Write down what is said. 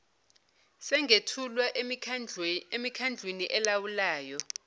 singethulwa emikhandlwini elawulayo